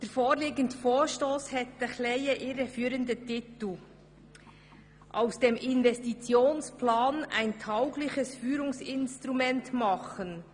Der vorliegende Vorstoss hat einen etwas irreführenden Titel: «Aus dem Investitionsplan ein taugliches Führungsinstrument machen.